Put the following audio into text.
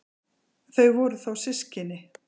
Þau voru þó systkini.